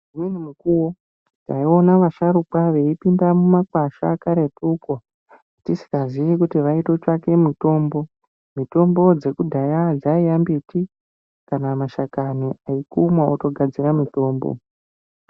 Umweni mukuwo taiona vasharukwa vei pinda mu makwasha karetu ko tisikazii kuti vaito tsvake mitombo mitombo dzeku dhaya dzaiya mbiti kana mashakani ekumwa oto gadzira mitombo.